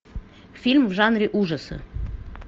фильм в жанре ужасы